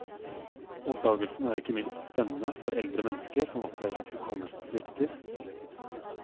Oppdagelsen er ikke minst spennende for eldre mennesker som opplever at hukommelsen svikter.